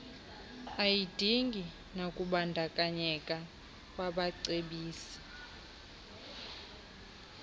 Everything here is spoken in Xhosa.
ayidingi nakubandakanyeka kwabacebisi